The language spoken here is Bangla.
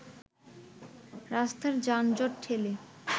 রাস্তার যানজট ঠেলে